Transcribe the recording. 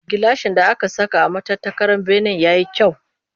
Gilashin da aka saka a matattakalar benen ya yi kyau